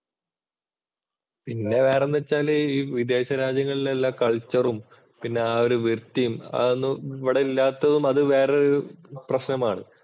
പിന്നെ വേറെന്തെന്ന് വച്ചാല് വിദേശരാജ്യങ്ങൾ എല്ലാംകള്‍ച്ചറും, ആ ഒരു വൃത്തിയും അതൊന്നും ഇവിടെ ഇല്ലാത്തത് അത് വേറൊരു പ്രശ്നമാണ്.